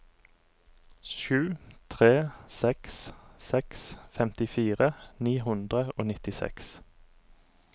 sju tre seks seks femtifire ni hundre og nittiseks